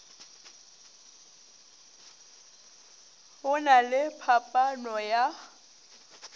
go na le phaphano ya